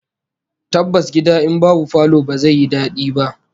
Tabbas gida in babu falo ba zai yi dadi ba